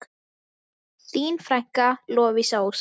Þín frænka, Lovísa Ósk.